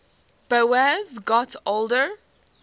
boas got older